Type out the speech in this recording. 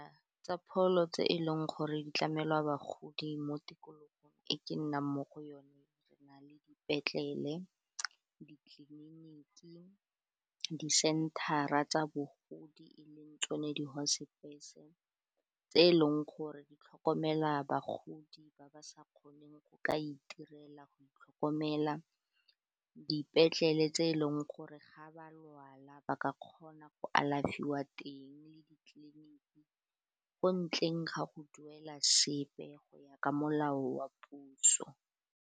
Tsa pholo tse e leng gore di tlamelwa bagodi, mo tikologong e ke nnang mo go yone, re na le dipetlele, ditleliniki, di-center-ra tsa bogodi, e leng tsone di-hospice-e tse e leng gore di tlhokomela bagodi ba ba sa kgoneng go ka itirela go itlhokomela dipetlele tse e leng gore ga ba lwala ba ka kgona go alafiwa teng le ditleliniki ko ntleng ga go duela sepe, go ya ka molao wa puso.